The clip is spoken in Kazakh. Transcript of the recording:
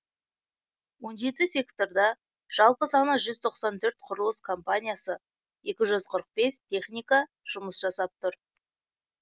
он жеті секторда жалпы саны жүз тоқсан төрт құрылыс компаниясы екі жүз қырық бес техника жұмыс жасап тұр